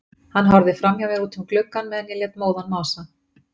Hann horfði framhjá mér út um gluggann meðan ég lét móðan mása.